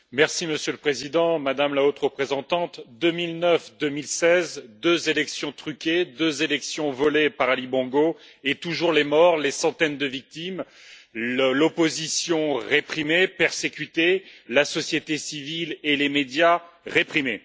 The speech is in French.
Monsieur le Président, Madame la Haute Représentante, 2009 et 2016, deux élections truquées, deux élections volées par Ali Bongo et toujours les morts, les centaines de victimes, l'opposition réprimée, persécutée, la société civile et les médias réprimés.